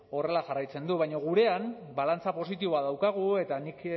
horrela jarraitzen du baina gurean balantza positiboa daukagu eta nik